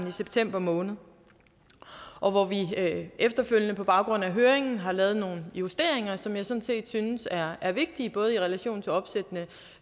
i september måned og hvor vi efterfølgende på baggrund af høringen har lavet nogle justeringer som jeg sådan set synes er er vigtige både i relation til opsættende